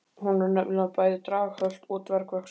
Hún var nefnilega bæði draghölt og dvergvaxin.